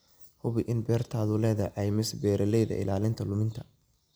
Hubi in beertaadu leedahay caymis beeralayda ilaalinta luminta.